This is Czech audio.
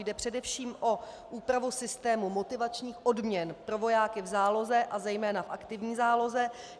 Jde především o úpravu systému motivačních odměn pro vojáky v záloze, a zejména v aktivní záloze.